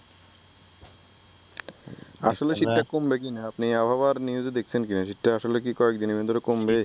আসলে শীতটা কমবে কিনা আপনি আবহাওয়ার নিউজে দেখসেন কিনা শীতটা কি আসলে কয়েকদিনের মধ্যে কমবে?